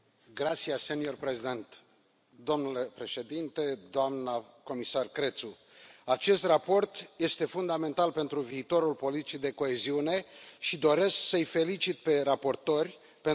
Domnule președinte, doamnă comisar Crețu, acest raport este fundamental pentru viitorul politicii de coeziune și doresc să îi felicit pe raportori pentru eforturile și rezultatele lor.